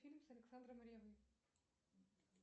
фильм с александром ревой